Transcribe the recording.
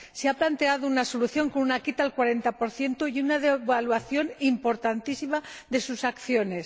Se ha planteado una solución, con una quita al 40 y una devaluación importantísima de sus acciones.